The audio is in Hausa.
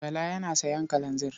Bala yana sayan kalanzir.